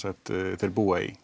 þeir búa í